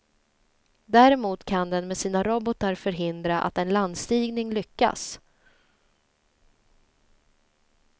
Däremot kan den med sina robotar förhindra att en landstigning lyckas.